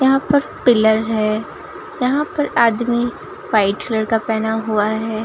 यहां पर पिलर है यहां पर आदमी व्हाइट कलर का पहना हुआ है।